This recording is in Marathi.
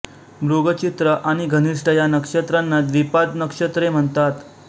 मृग चित्रा आणि घनिष्ठा या नक्षत्रांना द्विपाद नक्षत्रे म्हणतात